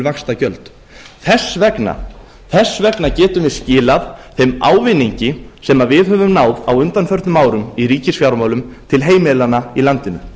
vaxtagjöld þess vegna getum við skilað þeim ávinningi sem við höfum náð á undanförnum árum í ríkisfjármálum til heimilanna í landinu